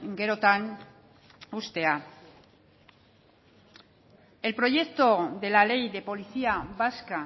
gerotan uztea el proyecto de la ley de policía vasca